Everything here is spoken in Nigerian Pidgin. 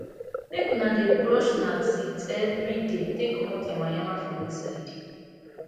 make una dey brush una teeth everyday take comot nyama nyama for inside